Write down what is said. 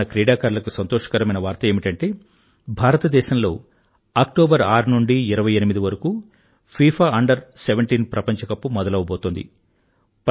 మన క్రీడాకారులకు సంతోషకరమైన వార్త ఏమిటంటే భారతదేశంలో అక్టోబర్ 6 నుండీ 28 వరకూ ఫీఫా అండర్ 17 ప్రపంచ కప్ మొదలవబోతోంది